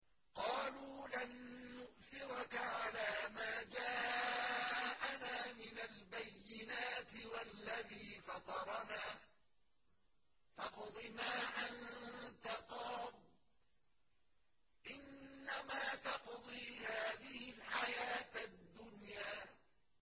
قَالُوا لَن نُّؤْثِرَكَ عَلَىٰ مَا جَاءَنَا مِنَ الْبَيِّنَاتِ وَالَّذِي فَطَرَنَا ۖ فَاقْضِ مَا أَنتَ قَاضٍ ۖ إِنَّمَا تَقْضِي هَٰذِهِ الْحَيَاةَ الدُّنْيَا